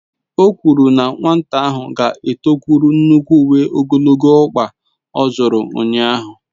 O kwuru na nwata ahụ ga-etokwuru nnukwu uwe ogologo ọkpa ọ zụtara ụnyahụ.